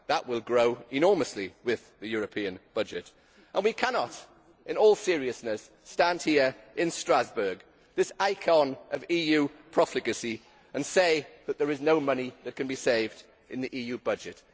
That will grow enormously with the European budget and we cannot in all seriousness stand here in Strasbourg this icon of EU profligacy and say that there is no money that can be saved in the EU budget.